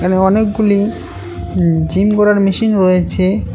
এখানে অনেকগুলি জিম করার মেশিন রয়েছে।